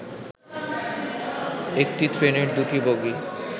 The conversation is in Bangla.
একটি ট্রেনের ২টি বগি